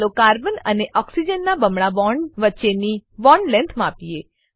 ચાલો કાર્બન અને ઓક્સિજન નાં બમણા બોન્ડ વચ્ચેની bond લેંગ્થ માપીએ